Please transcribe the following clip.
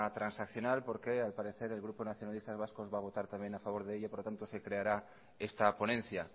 transaccional porque al parecer el grupo nacionalistas vascos va a votar también a favor de ello por lo tanto se creará esta ponencia